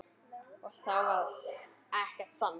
Og þó varð ekkert sannað.